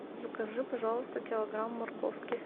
закажи пожалуйста килограмм морковки